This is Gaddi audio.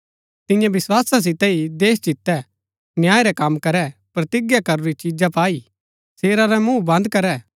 तिऐं विस्‍वासा सितै ही देश जितै न्याय रै कम करै प्रतिज्ञा करूरी चीजा पाई शेरा रै मुँह बन्द करै